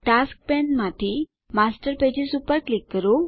tasks પેનમાંથી master pages પર click કરો